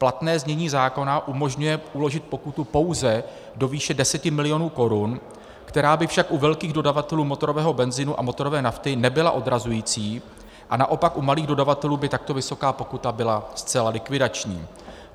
Platné znění zákona umožňuje uložit pokutu pouze do výše 10 mil. korun, která by však u velkých dodavatelů motorového benzinu a motorové nafty nebyla odrazující, a naopak u malých dodavatelů by takto vysoká pokuta byla zcela likvidační.